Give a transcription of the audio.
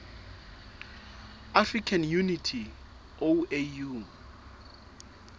african unity oau